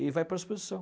E vai para a exposição.